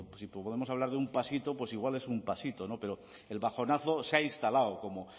si podemos hablar de un pasito pues igual es un pasito no pero el bajonazo se ha instalado como